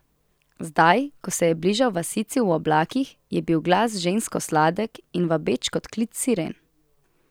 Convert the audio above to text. Zdaj, ko se je bližal vasici v oblakih, je bil glas žensko sladek in vabeč kot klic Siren.